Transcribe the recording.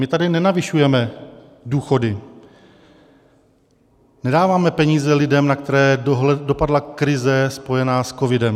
My tady nenavyšujeme důchody, nedáváme peníze lidem, na které dopadla krize spojená s covidem.